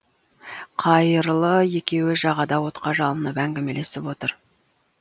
қайырлы екеуі жағада отқа жылынып әңгімелесіп отыр